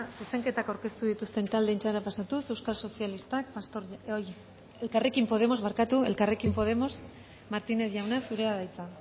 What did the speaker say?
zuzenketak aurkeztu dituzten taldeen txandara pasatuz elkarrekin podemos martínez jauna zurea da hitza